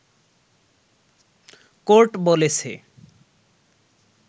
court বলেছে